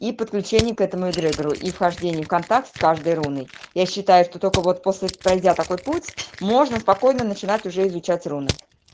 и подключение к этому эгрегору и вхождение в контакт с каждой руной я считаю что только вот после пройдя такой путь можно спокойно начинать уже изучать руны